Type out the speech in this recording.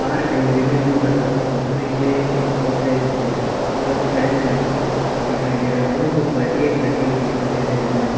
और कहीं विभिन्न प्रकारों के फ्रिजे एवं गोदरेज और कूलर फैन भी लगा हुआ दिखाई दे रहा है एवं कुछ बाल्टिये भी रखे हुए दिखाई दे रहे हैं।